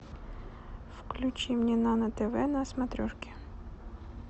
включи мне нано тв на смотрешке